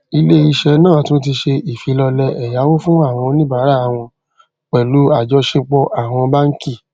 ilé iṣẹ náà tún ti ṣe ìfilọlẹ ẹyáwó fún àwọn oníbárà won pèlú àjọṣepọ àwọn báńkì